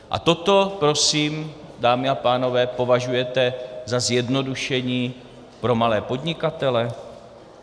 A toto prosím, dámy a pánové, považujete za zjednodušení pro malé podnikatele?